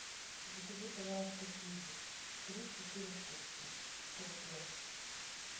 закажи пожалуйста киви три четыре штучки крупные